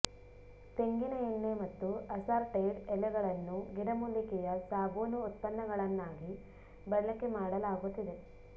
ತೆಂಗಿನ ಎಣ್ಣೆ ಮತ್ತು ಅಸಾರ್ಟೆಡ್ ಎಲೆಗಳನ್ನು ಗಿಡಮೂಲಿಕೆಯ ಸಾಬೂನು ಉತ್ಪನ್ನಗಳನ್ನಾಗಿ ಬಳಕೆ ಮಾಡಲಾಗುತ್ತಿದೆ